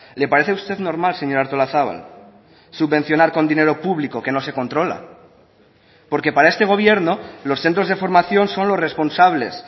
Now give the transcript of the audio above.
le parece a usted normal señora artolazabal subvencionar con dinero público que no se controla porque para este gobierno los centros de formación son los responsables